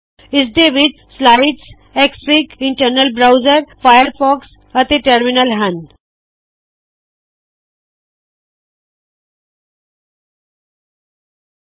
ਇਸਦੇ ਵਿਚ slides Xfig internet browser Firefox ਅਤੇ ਟਰਮੀਨਲ ਹੱਨ